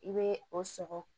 I bɛ o sɔgɔ